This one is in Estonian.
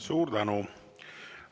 Suur tänu!